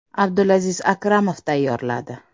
Abdulaziz Akramov tayyorladi.